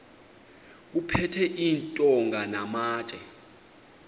kuphethwe iintonga namatye